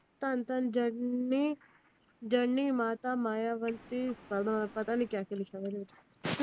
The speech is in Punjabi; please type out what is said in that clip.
ਧੰਨ ਧੰਨ ਜਨਨੀ ਜਨਨੀ ਮਾਤਾ ਅਗਾ ਪਤਾ ਨਹੀਂ ਕਿਆ ਕਯਾ ਲਿਖਾ ਆਂ ਏਡੇ ਵਿਚ